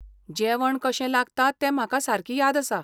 जेवण कशें लागता तें म्हाका सारकी याद आसा.